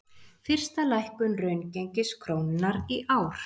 Fyrsta lækkun raungengis krónunnar í ár